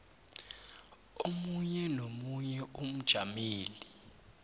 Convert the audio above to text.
omunye nomunye umjameli